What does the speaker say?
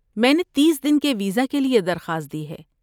میں نے تیس دن کے ویزا کے لیے درخواست دی ہے۔